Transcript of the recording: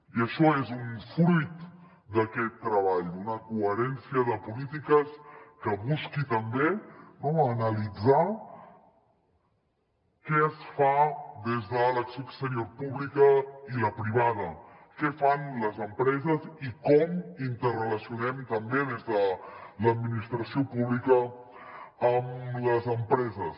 i això és un fruit d’aquest treball una coherència de polítiques que busqui també no analitzar què es fa des de l’acció exterior pública i la privada què fan les empreses i com interrelacionem també des de l’administració pública amb les empreses